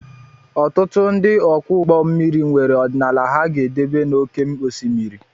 Ọtụtụ ndị ọkwọ ụgbọ mmiri nwere ọdịnala ha ga-edebe n'oké osimiri